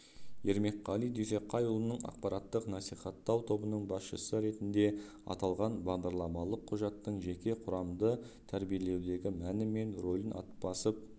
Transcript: ермекқали дүйсеқайұлының ақпараттық-насихаттау тобының басшысы ретінде аталған бағдарламалық құжаттың жеке құрамды тәрбиелеудегі мәні мен рөлін басып